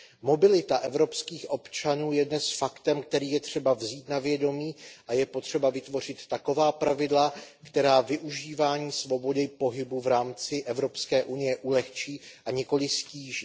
Mobilita evropských občanů je dnes faktem, který je třeba vzít na vědomí, a je potřeba vytvořit taková pravidla, která využívání svobody pohybu v rámci EU ulehčí, a nikoli ztíží.